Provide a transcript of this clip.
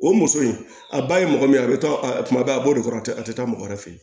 O muso in a ba ye mɔgɔ min ye a bɛ taa a kuma bɛɛ a b'o de fɔ a tɛ a tɛ taa mɔgɔ wɛrɛ fɛ yen